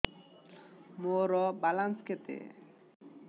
ମୋର ବାଲାନ୍ସ କେତେ